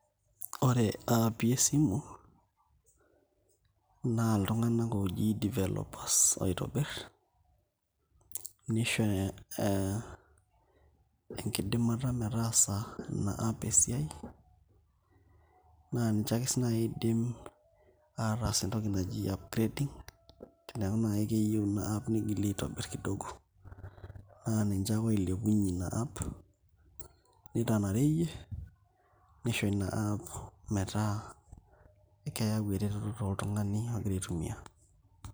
Ore aapi esimu naa iltung'anak ooji [developers oitobirr, nisho enkidimata metaasa ina app esiai naa ninche ake sii naai oidim aataas entoki naji upgrading eneeku naa keyieu ina app nigili aitobirr penyo aa ninche ake oilepunyie ina app nitanareyie nisho ina app metaa keeyau ereteto toltung'ani ogira aitumiaa.